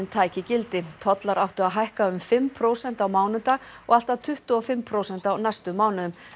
tæki gildi tollar áttu að hækka um fimm prósent á mánudag og allt að tuttugu og fimm prósent á næstu mánuðum